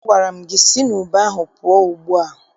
Agwara m gị si n' ube ahụ pụọ ugbu a!